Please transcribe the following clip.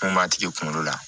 Mun b'a tigi kunkolo la